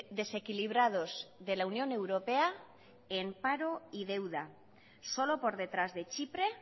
desequilibrados de la unión europea en paro y deuda solo por detrás de chipre